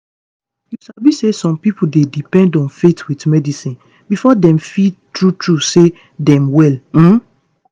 you sabi say some pipo dey depend on faith with medicine before dem feel true true say dem well. um